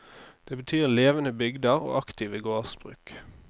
Det betyr levende bygder og aktive gårdsbruk.